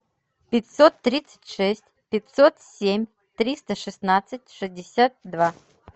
пятьсот тридцать шесть пятьсот семь триста шестнадцать шестьдесят два